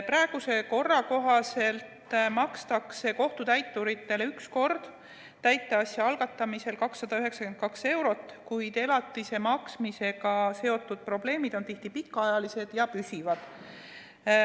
Praeguse korra kohaselt makstakse kohtutäiturile üks kord täiteasja algatamisel 292 eurot, kuid elatise maksmisega seotud probleemid on tihti pikaajalised ja püsivad.